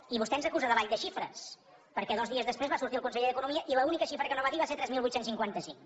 i vostè ens acusa de ball de xifres perquè dos dies després va sortir el conseller d’economia i l’única xifra que no va dir va ser tres mil vuit cents i cinquanta cinc